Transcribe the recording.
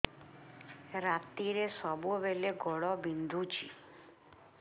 ରାତିରେ ସବୁବେଳେ ଗୋଡ ବିନ୍ଧୁଛି